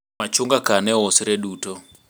machunga ka ne ousre duto